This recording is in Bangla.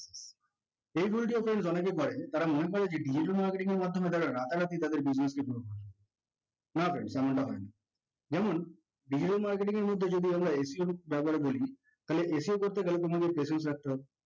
page অনেকেই করে তারা মনে করে যে digital marketing এর মাধ্যমে তারা রাতারাতি তাদের business টি develop হবে, না friends ঝামেলা হয় না দেখুন digital marketing মধ্যে যদি আমরা SEO ব্যবহার করি তাহলে SEO করতে গেলে মূলত patience রাখতে হবে